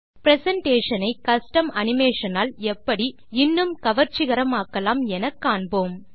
presentation ஐ custom animation ஆல் எப்படி இன்னும் கவர்ச்சிகரமாக்கலாம் என காண்போம்